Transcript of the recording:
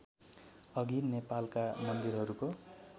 अघि नेपालका मन्दिरहरूको